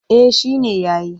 Eh shi ne ya yi.